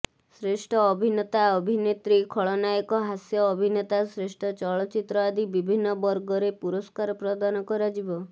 ଶ୍ରେଷ୍ଠ ଅଭିନେତା ଅଭିନେତ୍ରୀ ଖଳନାୟକ ହାସ୍ୟ ଅଭିନେତା ଶ୍ରେଷ୍ଠ ଚଳଚିତ୍ର ଆଦି ବିଭିନ୍ନ ବର୍ଗରେ ପୁରସ୍କାର ପ୍ରଦାନ କରାଯିବ